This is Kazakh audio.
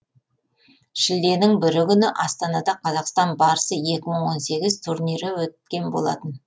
шілденің бірі күні астанада қазақстан барысы екі мың он сегіз турнирі өткен болатын